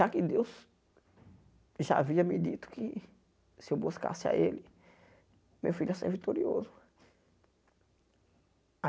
Já que Deus já havia me dito que se eu buscasse a ele, meu filho ia ser vitorioso.